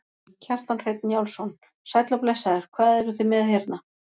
Kjartan Hreinn Njálsson: Sæll og blessaður, hvað eruð þið með hérna?